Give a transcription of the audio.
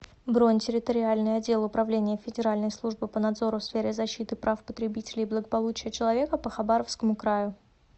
бронь территориальный отдел управления федеральной службы по надзору в сфере защиты прав потребителей и благополучия человека по хабаровскому краю